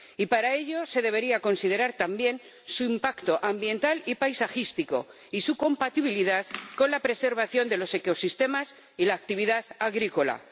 Y para ello, se debería considerar también su impacto ambiental y paisajístico y su compatibilidad con la preservación de los ecosistemas y la actividad agrícola.